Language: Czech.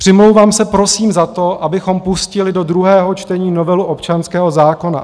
Přimlouvám se prosím za to, abychom pustili do druhého čtení novelu občanského zákoníku.